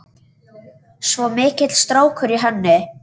Svo mikill strákur í henni.